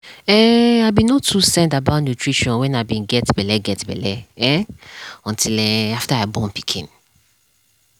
um i be no too send about nutrition when i be get belle get belle um until um after i born pikin.